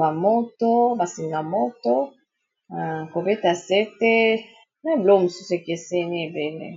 bamoto basingamoto kobeta sete na eblo mosusu ekeseni ebele